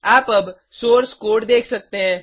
आप अब source code देख सकते हैं